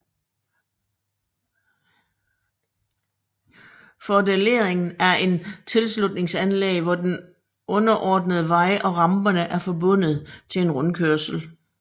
Fordelerring er et tilslutningsanlæg hvor den underordnede vej og ramperne er forbundet til en rundkørsel